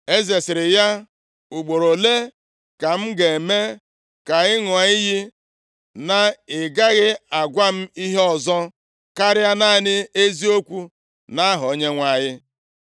Eze sịrị ya, “Ugboro ole ka m ga-eme ka ị ṅụọ iyi na ị gaghị agwa m ihe ọzọ, karịa naanị eziokwu nʼaha Onyenwe anyị?”